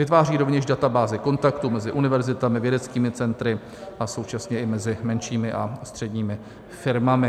Vytváří rovněž databázi kontaktů mezi univerzitami, vědeckými centry a současně i mezi menšími a středními firmami.